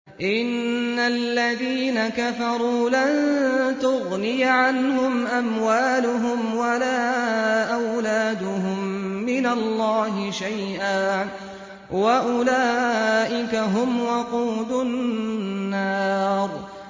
إِنَّ الَّذِينَ كَفَرُوا لَن تُغْنِيَ عَنْهُمْ أَمْوَالُهُمْ وَلَا أَوْلَادُهُم مِّنَ اللَّهِ شَيْئًا ۖ وَأُولَٰئِكَ هُمْ وَقُودُ النَّارِ